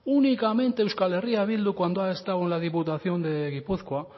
únicamente euskal herria bildu cuando ha estado en la diputación de gipuzkoa